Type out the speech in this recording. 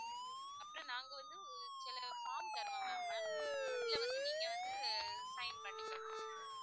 அப்புறம் நாங்க வந்து ஒரு சில form தருவாங்க ma'am அதுல வந்து நீங்க வந்து sign பண்ணிக்கனும்